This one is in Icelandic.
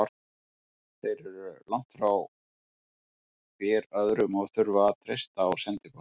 Þeir eru langt frá hver öðrum og þurfa að treysta á sendiboða.